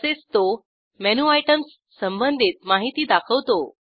तसेच तो menu items संबंधित माहिती दाखवतो